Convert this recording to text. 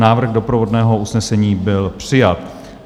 Návrh doprovodného usnesení byl přijat.